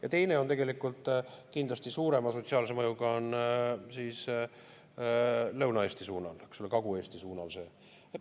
Ja teine on kindlasti suurema sotsiaalse mõjuga Lõuna-Eesti suunal, Kagu-Eesti suunal.